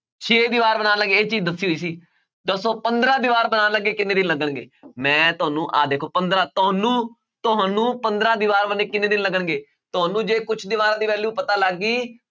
ਛੇ ਦੀਵਾਰ ਬਣਾਉਣ ਲੱਗੇ ਇਹ ਚੀਜ਼ ਦੱਸੀ ਹੋਈ ਸੀ, ਦੱਸੋ ਪੰਦਰਾਂ ਦੀਵਾਰ ਬਣਾਉਣ ਲੱਗੇ ਕਿੰਨੇ ਦਿਨ ਲੱਗਣਗੇ ਮੈਂ ਤੁਹਾਨੂੰ ਆਹ ਦੇਖੋ ਪੰਦਰਾਂ ਤੁਹਾਨੂੰ ਤੁਹਾਨੂੰ ਪੰਦਰਾਂ ਦੀਵਾਰ ਕਿੰਨੇ ਦਿਨ ਲੱਗਣਗੇ ਤੁਹਾਨੂੰ ਜੇ ਕੁਛ ਦੀਵਾਰਾਂ ਦੀ value ਪਤਾ ਲੱਗ ਗਈ